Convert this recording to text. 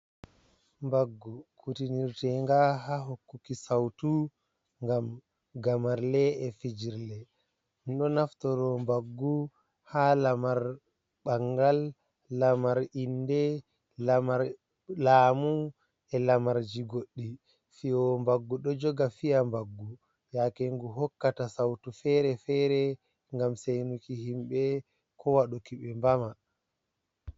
Mbaggu kutinirtinga ha hokkuki sautu ngam gamarle e fijirle, ɗo naftoro mbaggu ha lamar bangal, lamar inde, laamu, e lamarji goɗɗi, fiyewo mbaggu ɗo joga fi'a mbaggu yakengu hokkata sautu fere-fere, ngam seinuki himɓɓe ko waɗuki ɓe mbama.